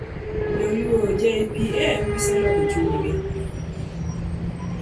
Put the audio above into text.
Jaluo, "J.P.M.: Giseloko chunygi".